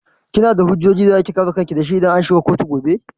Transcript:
Kina da hujjojin da zaki kare kanki dashi idan an shiga kotu gobe?